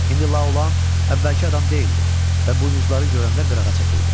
İndi Laolan əvvəlki adam deyildi və buynuzları görəndə qırağa çəkildi.